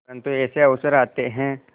परंतु ऐसे अवसर आते हैं